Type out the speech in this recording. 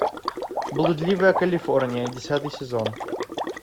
блудливая калифорния десятый сезон